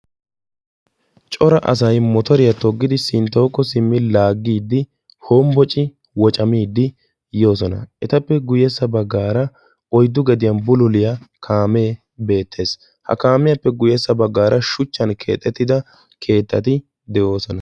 cora asay sinttawukko simmidi motoriya laagiidi hombbocciidi yoosona. etappe guyyessa baggaara oyddu gediyan bulluliyaa kaame beettees. ha kaamiyaappe guyyessa baggaara shuchchan keexxetida keettati beettoosona.